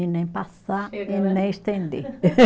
E nem passar e nem estender.